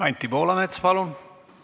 Anti Poolamets, palun!